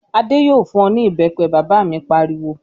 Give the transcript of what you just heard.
"Adé yóò fún ọ ní ìbẹ́pẹ!" Bàbá mi pariwo.